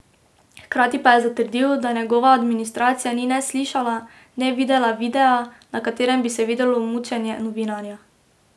Hkrati pa je zatrdil, da njegova administracija ni ne slišala, ne videla videa, na katerem bi se videlo mučenje novinarja.